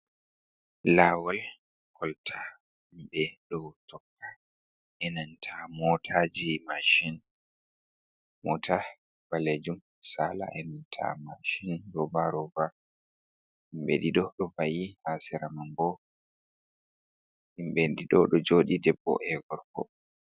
Laawol kolta himɓe ɗo tokka enanta motaji, mashin. Mota balejum saala enanta mashin roba roba himɓe ɗiɗo ɗo va'i ha sera man bo himɓe ɗiɗo ɗo joɗi debbo e gorko.